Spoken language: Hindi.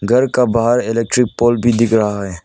घर का बाहर इलेक्ट्रिक पोल भी दिख रहा है।